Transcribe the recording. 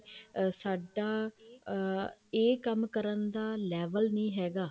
ਸਾਡਾ ਅਮ ਇਹ ਕੰਮ ਕਰਨ ਦਾ level ਨੀ ਹੈਗਾ